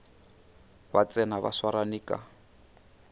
ba tsena ba swarane ka